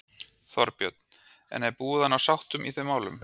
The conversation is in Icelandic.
Þorbjörn: En er búið að ná sátt í þeim málum?